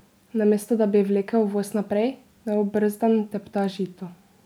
Namesto da bi vlekel voz naprej, neobrzdan tepta žito.